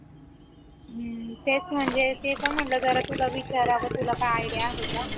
तेच म्हणजे ते पण म्हटलं जरा तुला विचारावं तुला काय idea आहे का?